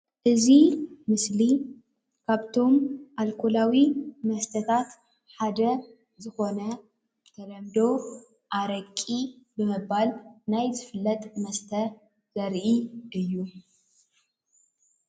እዚ ምስሊ ካብቶም ኣልኮላዊ መስተታት ሓደ ዝኮነ ብተለምዶ አረቂ ብምባል ዝፍለጥ ናይ መስተ ዘርኢ እዩ።